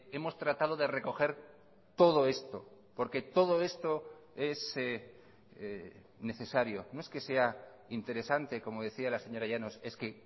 hemos tratado de recoger todo esto porque todo esto es necesario no es que sea interesante como decía la señora llanos es que